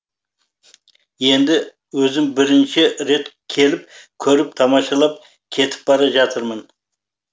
енді өзім бірінші рет келіп көріп тамашалап кетіп бара жатырмын